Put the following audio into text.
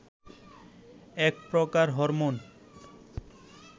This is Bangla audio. এক প্রকার হরমোন